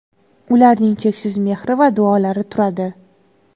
ularning cheksiz mehri va duolari turadi.